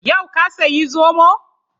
Yau ka sayi zomo?